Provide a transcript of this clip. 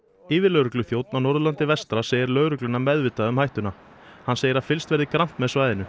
yfirlögregluþjónninn á Norðurlandi vestra segir lögregluna meðvitaða um hættuna hann segir að fylgst verði grannt með svæðinu